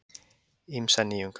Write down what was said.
Ýmsar nýjungar